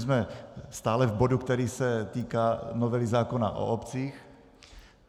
Jsme stále v bodu, který se týká novely zákona o obcích.